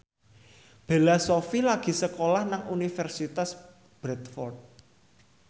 Bella Shofie lagi sekolah nang Universitas Bradford